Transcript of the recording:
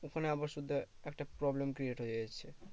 ওখানে আবার শুধু একটা problem create হয়ে যাচ্ছে